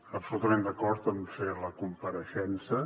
absolutament d’acord a fer la compareixença